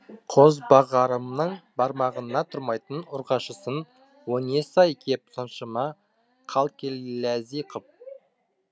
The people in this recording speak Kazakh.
қозбағарымның бармағына тұрмайтын ұрғашысын о несі ай кеп соншама қалқелләзи кып